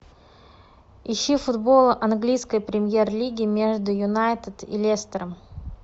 ищи футбол английской премьер лиги между юнайтед и лестером